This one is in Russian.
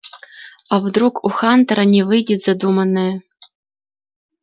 а вдруг у хантера не выйдет задуманное